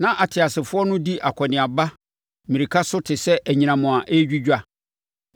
Na ateasefoɔ no di akɔneaba mmirika so te sɛ anyinam a ɛredwidwa.